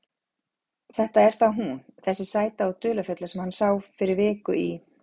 Þetta er þá hún, þessi sæta og dularfulla sem hann sá fyrir viku í